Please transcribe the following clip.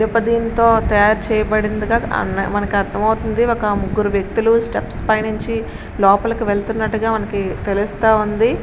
ఇనుప దీంతో తయారు చేయబడింది మనకి అర్దం అవుతుంది ఒక ముగ్గురు వ్యక్తులు స్టెప్స్ పై నించి లోపలికి వెలత్తునట్టుగా మనకి తేలుస్తా ఉంది.